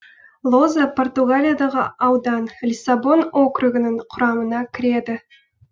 лоза португалиядағы аудан лиссабон округінің құрамына кіреді